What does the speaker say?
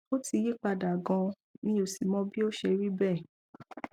ó ti yí padà ganan mi ò sì mọ bí ó ṣe rí bẹẹ